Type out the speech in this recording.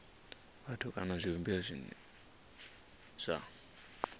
vhathu kana zwivhumbeo zwine zwa